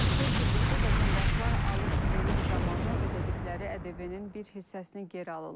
Artıq beş ildir ki, vətəndaşlar alış-veriş zamanı ödədikləri ƏDV-nin bir hissəsini geri alırlar.